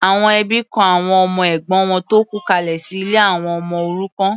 Àwọn ẹbí kọ àwọn ọmọ ẹ̀gbọ́n wọn tó kú kalẹ̀ sí ilé àwọn ọmọ òrukàn.